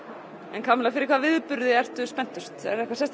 en Kamilla fyrir hvað viðburði ertu spenntust